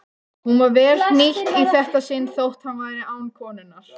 Hún var vel hnýtt í þetta sinn þótt hann væri án konunnar.